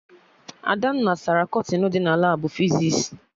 Adanna sara kọtịnụ dị na Labụ fizis